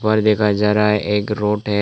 पर दिखाया जा रहा है एक रोड है।